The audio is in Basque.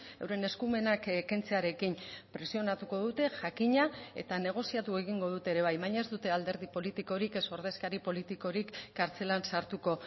euren eskumenak kentzearekin presionatuko dute jakina eta negoziatu egingo dute ere bai baina ez dute alderdi politikorik ez ordezkari politikorik kartzelan sartuko